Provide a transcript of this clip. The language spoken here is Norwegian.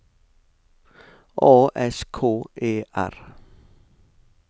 A S K E R